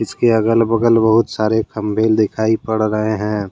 इसके अगल बगल बहुत सारे खंभे लिखाई पड़ रहे हैं।